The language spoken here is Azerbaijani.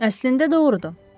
Əslində doğrudur.